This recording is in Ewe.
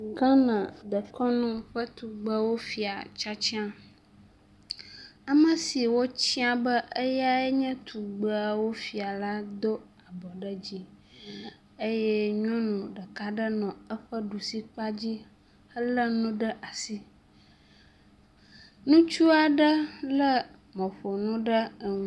Ghana dekɔnu ƒe tugbewofia tiatia. Ame si wotia be eyae enye tugbewofia la do abɔ ɖe dzi eye nyɔnu ɖeka nɔ eƒe ɖusi kpa dzi, elé nu ɖe asi, ŋutsu aɖe lé emɔƒonu ɖe enu…